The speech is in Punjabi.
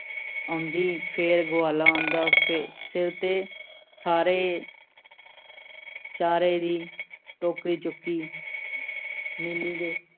ਆਉਂਦੀ। ਫੇਰ ਗਵਾਲਾ ਆਉਂਦਾ, ਫੇਰ ਸਿਰ ਤੇ ਸਾਰੇ ਚਾਰੇ ਦੀ ਟੋਕਰੀ ਚੁੱਕੀ । ਨੀਲੀ ਦੇ